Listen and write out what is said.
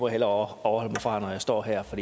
hellere afholde mig fra når jeg står her for